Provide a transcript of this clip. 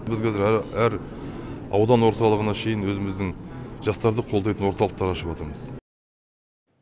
біз қазір әр аудан орталығына шейін өзіміздің жастарды қолдайтын орталықтар ашыватырмыз